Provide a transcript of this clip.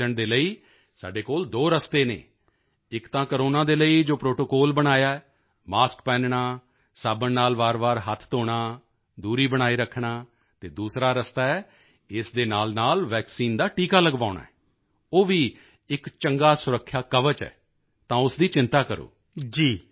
ਅਤੇ ਉਸ ਤੋਂ ਬਚਣ ਦੇ ਲਈ ਸਾਡੇ ਕੋਲ ਦੋ ਰਸਤੇ ਹਨ ਇਕ ਤਾਂ ਕੋਰੋਨਾ ਦੇ ਲਈ ਜੋ ਪ੍ਰੋਟੋਕੋਲ ਬਣਾਇਆ ਹੈ ਮਾਸਕ ਪਹਿਨਣਾ ਸਾਬਣ ਨਾਲ ਵਾਰਵਾਰ ਹੱਥ ਧੋਣਾ ਦੂਰੀ ਬਣਾਈ ਰੱਖਣਾ ਅਤੇ ਦੂਸਰਾ ਰਸਤਾ ਹੈ ਇਸ ਦੇ ਨਾਲਨਾਲ ਵੈਕਸੀਨ ਦਾ ਟੀਕਾ ਲਗਵਾਉਣਾ ਉਹ ਵੀ ਇਕ ਚੰਗਾ ਸੁਰੱਖਿਆ ਕਵਚ ਹੈ ਤਾਂ ਉਸ ਦੀ ਚਿੰਤਾ ਕਰੋ